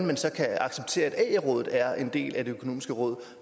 man så kan acceptere at ae rådet er en del af det økonomiske råd